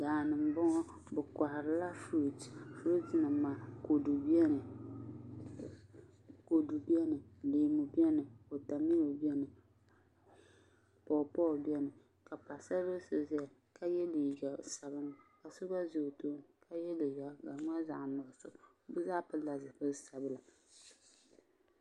daa ni m-bɔŋɔ bɛ kɔhirila furuti furutinima kɔdu biɛni leemu biɛni watamilo bɛni pɔɔpɔɔ bɛni ka paɣisar' bil' so zaya ka ye liiga sabinli ka so gba ʒe o tooni ka ye liiga ka di mali zaɣ' nuɣiso bɛ zaa pilila zipil' sabila